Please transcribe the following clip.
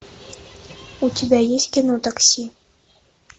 у тебя есть кино такси